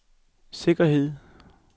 sikkerhed